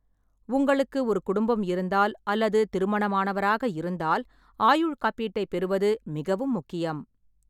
உங்களுக்கு ஒரு குடும்பம் இருந்தால் அல்லது திருமணமானவராக இருந்தால் ஆயுள் காப்பீட்டைப் பெறுவது மிகவும் முக்கியம்.